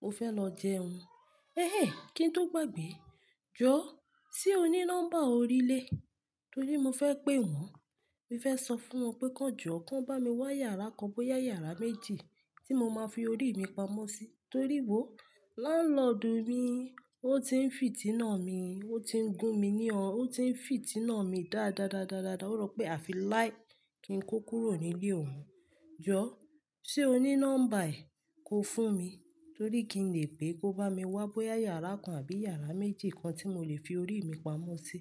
Mo fẹ́ lọ jẹun. Ẹh ẹh! Kí n tó gbàgbé. Jọ, ṣe o ní nọ́mbà orílẹ̀? Torí mo fẹ́ pé wọ́n. Mo fẹ́ sọ fún wọn pé kí wọ́n jọ́, kí wọ́n bá mi wá yàrá kan bóyá yàrá méjì tí mo máa fi orí mi pamọ́ sí. Torí wò, láńlọ́dùù mi, ó ti ń fìtínà mi, ó ti ń gun mi ní ọ̀n, ó ti ń fìtínà mi dáadáadáádá. O rọ pe afi láì ki n ko kúrò ni ile ohun. Jọ, ṣe o ní nọ́mbà ẹ̀? Kó fún mi, torí kí n lè pè pé kó bá mi wá bóyá yàrá kan àbí yàrá méjì kan tí mo lè fi orí mi pamọ́ sí.